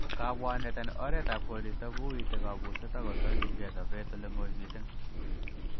Kabwanet en oretab koristo kouite kabuset ako tokyingei sobet oleng'oi missing.